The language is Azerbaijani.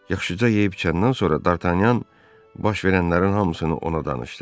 Yaxşıca yeyib-içəndən sonra Dartanyan baş verənlərin hamısını ona danışdı.